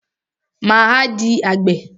Máa di àgbè.